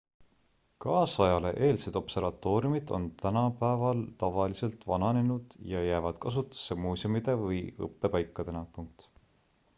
kaasajale eelsed observatooriumid on tänapäeval tavaliselt vananenud ja jäävad kasutusse muuseumide või õppepaikadena